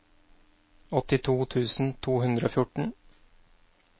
åttito tusen to hundre og fjorten